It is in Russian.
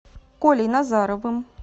колей назаровым